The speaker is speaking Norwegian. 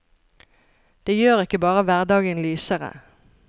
Det gjør ikke bare hverdagen lysere.